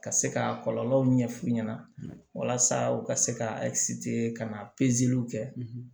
Ka se ka kɔlɔlɔw ɲɛf'u ɲɛna walasa u ka se ka ka na w kɛ